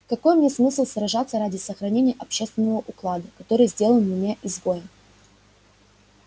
какой мне смысл сражаться ради сохранения общественного уклада который сделал меня изгоем